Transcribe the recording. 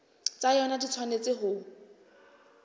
tsa yona di tshwanetse ho